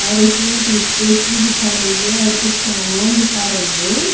और इसमें टूथपेस्ट भी दिखा रही है और कुछ सामान दिखा रही हैं।